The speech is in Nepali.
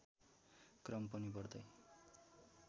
क्रम पनि बढ्दै